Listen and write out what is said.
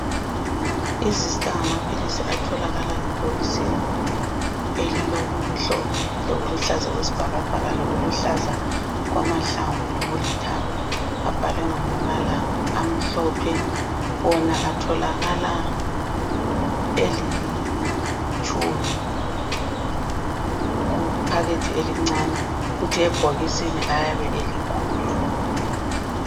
I zista ngamaphilisi atholakala ebhokisini elilokumhlophe lokuluhlaza okwesibhakabhaka, lokuluhlaza okwamahlamvu lokulithanga. Abhalwe ngamabala amhlophe. Wona atholakala elitshumi kuphakethe elincane ,kuthi ebhokisini ayabe elikhulu.